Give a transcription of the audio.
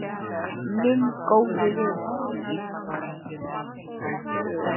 Minn góði vinur.